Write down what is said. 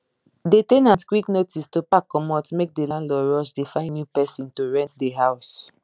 the ten ant quick notice to pack comot make the landlord rush dey find new person to rent the house